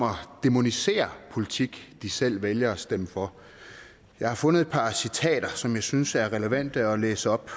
dæmoniserer politik de selv vælger at stemme for jeg har fundet et par citater som jeg synes er relevante at læse op